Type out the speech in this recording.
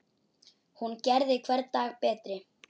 Hún gerði hvern dag betri.